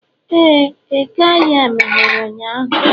ee, eke ahịa meghere ụnyahụ